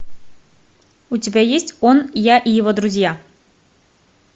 у тебя есть он я и его друзья